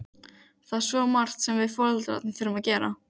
Það er svo margt sem við foreldrarnir þurfum að gera.